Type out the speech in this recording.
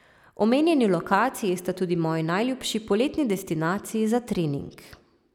Omenjeni lokaciji sta tudi moji najljubši poletni destinaciji za trening.